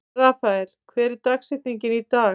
Rafael, hver er dagsetningin í dag?